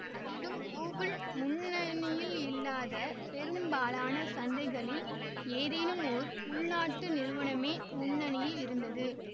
அதிலும் கூகுள் முன்னணியில் இல்லாத பெரும்பாலான சந்தைகளில் ஏதேனும் ஓர் உள்நாட்டு நிறுவனமே முன்னணியில் இருந்தது